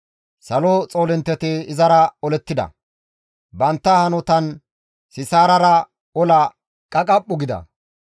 Salo xoolintteti izara olettida. Bantta hanotan Sisaarara ola qaqaphu gida.